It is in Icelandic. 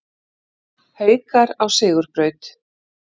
Haukar á sigurbraut